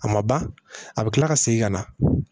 A ma ban a bɛ kila ka segin ka na